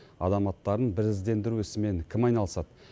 адам аттарын біріздендіру ісімен кім айналысады